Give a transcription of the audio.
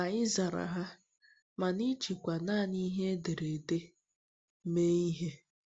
Ma ị zara ha, mana ịjikwa nanị ihe ederede mee ihe!